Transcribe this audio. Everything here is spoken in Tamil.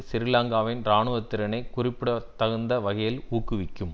சிறீலங்காவின் இராணுவத்திறனை குறிப்பிடத்தகுந்த வகையில் ஊக்குவிக்கும்